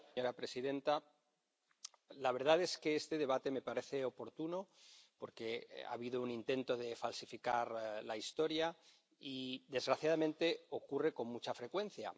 Señora presidenta, la verdad es que este debate me parece oportuno porque ha habido un intento de falsificar la historia y, desgraciadamente, esto ocurre con mucha frecuencia.